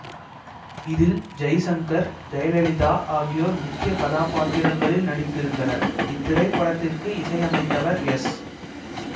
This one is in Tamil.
இதில் ஜெய்சங்கர் ஜெயலலிதா ஆகியோர் முக்கிய கதாபாத்திரங்களில் நடித்திருந்தனர் இத்திரைப்படத்திற்கு இசையமைத்தவர் எஸ்